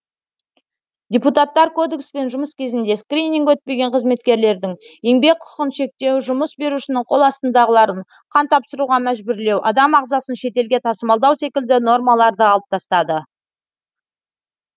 депутаттар кодекспен жұмыс кезінде скрининг өтпеген қызметкерлердің еңбек құқығын шектеу жұмыс берушінің қол астындағыларын қан тапсыруға мәжбүрлеу адам ағзасын шетелге тасымалдау секілді нормаларды алып тастады